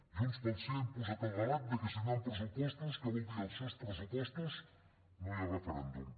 junts pel sí ha imposat el relat de que si no hi han pressupostos que vol dir els seus pressupostos no hi ha referèndum